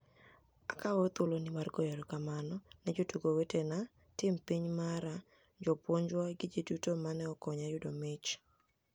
Akawo thuolonii mar goyo erokamano ni e jotugo wetenia, tim piniy mara , jopuonijwa gi ji duto mani e okoniya yudo mich.